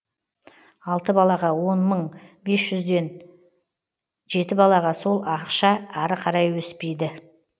алты балаға он мың бес жүзден жеті балаға сол ақша ары қарай өспейді